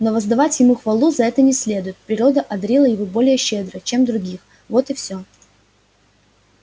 но воздавать ему хвалу за это не следует природа одарила его более щедро чем других вот и всё